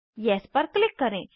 yes पर click करें